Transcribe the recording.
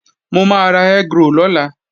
Mo máa ra egg roll lọ́la